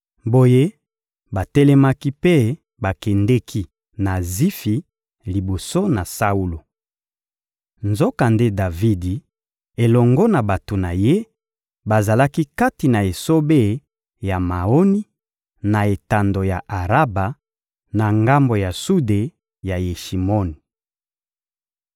Boye, batelemaki mpe bakendeki na Zifi liboso na Saulo. Nzokande Davidi elongo na bato na ye bazalaki kati na esobe ya Maoni, na etando ya Araba, na ngambo ya sude ya Yeshimoni.